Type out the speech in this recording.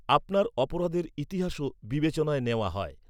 আপনার অপরাধের ইতিহাসও বিবেচনায় নেওয়া হয়।